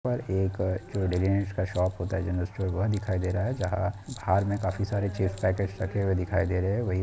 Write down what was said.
यहाँ पर एक जो डेली नीड्स का शॉप होता है जनरल स्टोर दिखाई दे रहा है जहाँ बाहर में काफी सारे चिप्स के पैकेट दिखाई दे रहे है।